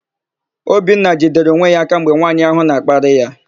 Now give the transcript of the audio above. Obinna jidere onwe ya aka mgbe nwaanyị áhụ̀ na-akparị ya.